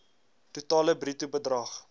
totale bruto bedrag